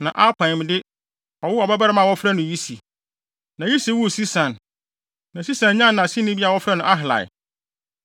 na Apaim de, ɔwoo ɔbabarima a wɔfrɛ no Yisi. Na Yisi woo Sesan. Na Sesan nyaa nʼaseni bi a wɔfrɛ no Ahlai.